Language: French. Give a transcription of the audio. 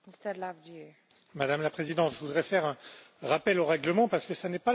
Madame la Présidente, je voudrais faire un rappel au règlement, parce que ce n'est pas la première fois que M.